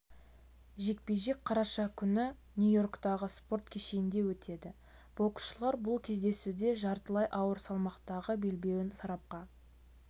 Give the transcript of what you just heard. жекпе-жек қараша күні нью-йорктағы спорт кешенінде өтеді боксшылар бұл кездесуде жартылай ауыр салмақтағы белбеуін сарапқа